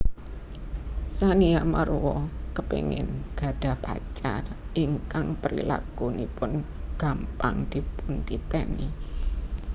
Tsania Marwa kepéngin gadhah pacar ingkang prilakunipun gampang dipuntiteni